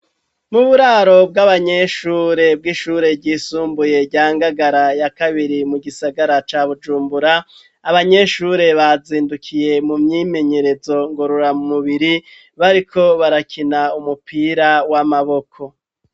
Mu buraro bw'abanyeshure bw'ishure ryisumbuye rya Ngagara ya kabiri mu gisagara ca Bujumbura, abanyeshure bazindukiye mu myimenyerezo ngorora mu mubiri bariko barakina umupira w'amaboko.